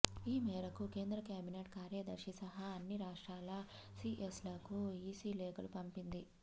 ఈ మేరకు కేంద్ర కేబినెట్ కార్యదర్శి సహా అన్ని రాష్ట్రాల సిఎస్లకు ఈసీ లేఖలు పంపింది